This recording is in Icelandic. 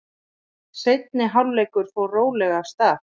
Seinni hálfleikur fór rólega af stað.